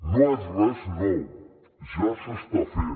no és res nou ja s’està fent